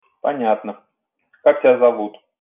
понятно как тебя зовут